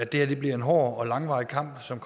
det her bliver en hård og langvarig kamp som